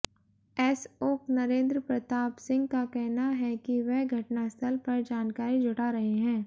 SO Narendra Pratap Singh का कहना है कि वह घटनास्थल पर जानकारी जुटा रहे हैं